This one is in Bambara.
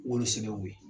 Wolo sɛbɛ ko ye